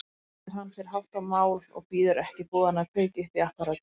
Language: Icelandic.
Heim nær hann fyrir háttumál og bíður ekki boðanna að kveikja upp í apparatinu.